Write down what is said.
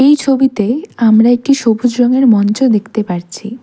এই ছবিতে আমরা একটি সবুজ রঙের মঞ্চ দেখতে পারছি।